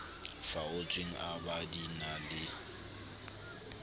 faotsweng ab di na le